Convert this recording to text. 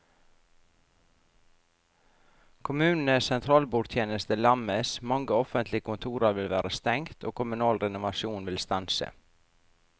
Kommunenes sentralbordtjeneste lammes, mange offentlige kontorer vil være stengt og kommunal renovasjon vil stanse.